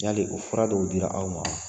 Yali o fura dɔw dir'aw ma wa?